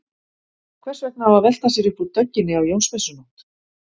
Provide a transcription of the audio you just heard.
Hvers vegna á að velta sér upp úr dögginni á Jónsmessunótt?